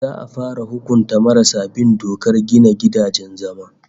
Za'a fara hukunta marasa bin dokar gina gidajen zama